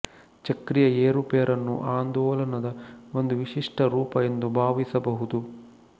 ಚಕ್ರೀಯ ಏರುಪೇರನ್ನು ಆಂದೋಲನದ ಒಂದು ವಿಶಿಷ್ಟ ರೂಪ ಎಂದು ಭಾವಿಸಬಹುದು